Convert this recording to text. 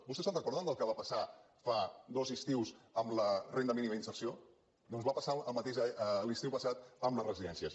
vostès se’n recorden del que va passar fa dos estius amb la renda mínima d’inserció doncs va passar el mateix l’estiu passat amb les residències